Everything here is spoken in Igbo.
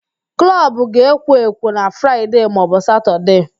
Klọbụ ga-ekwo ekwo na Fraịde maọbụ Satọde